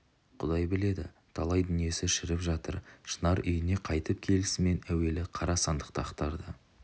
құдай біледі талай дүниесі шіріп жатыр шынар үйіне қайтып келісімен әуелі қара сандықты ақтарды